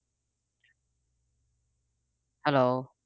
Hello